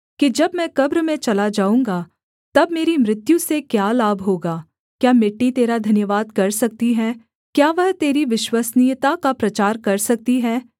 जब मैं कब्र में चला जाऊँगा तब मेरी मृत्यु से क्या लाभ होगा क्या मिट्टी तेरा धन्यवाद कर सकती है क्या वह तेरी विश्वसनीयता का प्रचार कर सकती है